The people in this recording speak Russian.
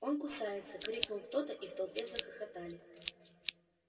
он кусается крикнул кто-то и в толпе захохотали